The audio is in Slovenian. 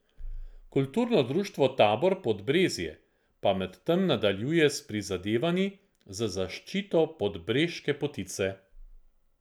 Kulturno društvo Tabor Podbrezje pa medtem nadaljuje s prizadevanji za zaščito podbreške potice.